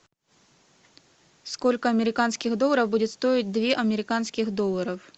сколько американских долларов будет стоить две американских долларов